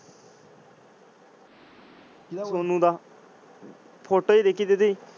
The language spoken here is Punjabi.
ਸੋਨੂ ਦਾ photo ਹੀ ਦੇਖੀ ਸੀ ਜਿਦੀ।